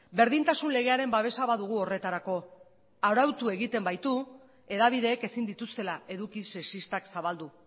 berdintasun legearen babesa badugu horretarako arautu egiten baitu hedabideek ezin dituztela eduki sexistak zabaldu